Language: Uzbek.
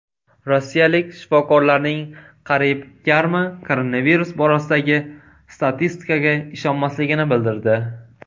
Rossiyalik shifokorlarning qariyb yarmi koronavirus borasidagi statistikaga ishonmasligini bildirdi.